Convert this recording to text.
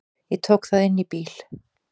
Ég tók það inn í bíl.